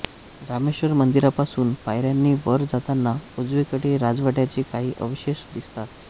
रामेश्र्वर मंदिरापासून पायऱ्यांनी वर जातांना उजवीकडे राजवाड्याचे काही अवशेष दिसतात